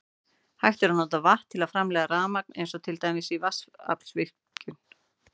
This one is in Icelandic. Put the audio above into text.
Hægt er að nota vatn til að framleiða rafmagn eins og til dæmis í vatnsaflsvirkjun.